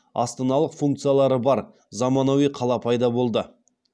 астаналық функциялары бар заманауи қала пайда болды